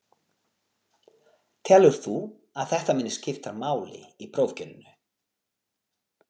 Telur þú að þetta muni skipta máli í prófkjörinu?